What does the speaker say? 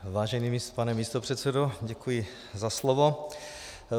Vážený pane místopředsedo, děkuji za slovo.